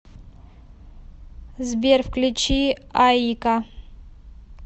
сбер включи аика